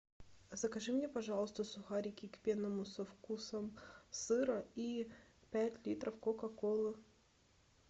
закажи мне пожалуйста сухарики к пенному со вкусом сыра и пять литров кока колы